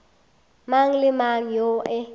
mang le mang yoo e